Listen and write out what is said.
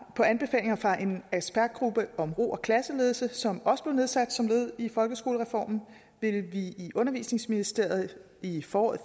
på anbefalinger fra en ekspertgruppe om ro og klasseledelse som også blev nedsat som led i folkeskolereformen vil vi i undervisningsministeriet i foråret